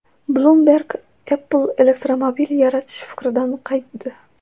Bloomberg: Apple elektromobil yaratish fikridan qaytdi.